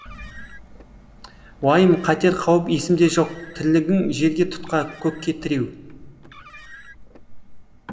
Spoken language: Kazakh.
уайым қатер қауіп есімде жоқ тірлігің жерге тұтқа көкке тіреу